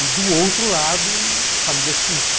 E, do outro lado, família suíça.